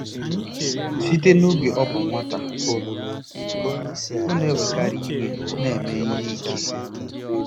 Site n'oge ọ bụ nwata, ọ na-ewekarị iwe na ime ihe ike.